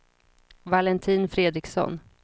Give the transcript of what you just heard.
Valentin Fredriksson